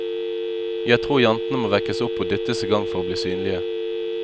Jeg tror jentene må vekkes opp og dyttes i gang for å bli synlige.